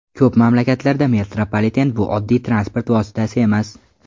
Ko‘p mamlakatlarda metropoliten bu oddiy transport vositasi emas.